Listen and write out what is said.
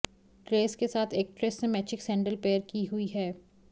dress के साथ actress ने मैचिंग सैंडल पेयर की हुई है